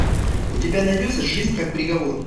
у тебя найдется жизнь как приговор